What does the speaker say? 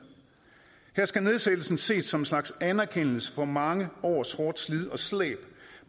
her skal nedsættelsen ses som en slags anerkendelse for mange års hårdt slid og slæb